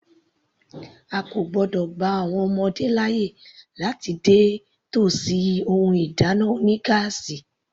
A kò gbọ́dọ̀ gba àwọn ọmọ kékeré láàyè láti dé tòsí ohun ìdáná oní gáásì.